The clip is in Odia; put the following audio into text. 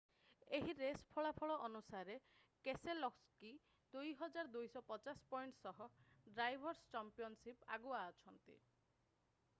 ଏହି ରେସ୍ ଫଳାଫଳ ଅନୁସାରେ କେସେଲୋସ୍କି 2,250 ପଏଣ୍ଟ ସହ ଡ୍ରାଇଭର୍’ସ୍ ଚମ୍ପିଅନଶିପ୍‌ରେ ଆଗୁଆ ଅଛନ୍ତି।